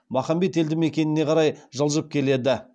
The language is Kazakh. махамбет елді мекеніне қарай жылжып келеді